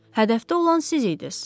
Hədəfdə olan siz idiniz.